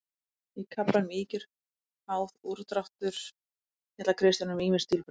Í kaflanum Ýkjur, háð, úrdráttur fjallar Kristján um ýmis stílbrögð.